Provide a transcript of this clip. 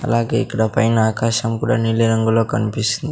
అలాగే ఇక్కడ పైన ఆకాశం కూడా నీలి రంగులో--